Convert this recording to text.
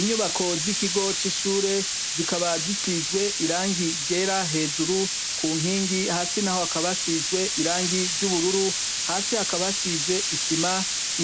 Inyubako z'ikigo c'ishure zikaba zisizwe irangi ryera hejuru ku nkingi, hasi naho hakaba hasizwe irangi ry'ubururu, hasi hakaba hasize isima.